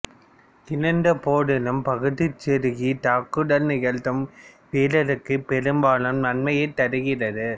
இருந்த போதிலும் பகுதிச் செருகி தாக்குதல் நிகழ்த்தும் வீரருக்கு பெரும்பாலும் நன்மையைத் தருகிறது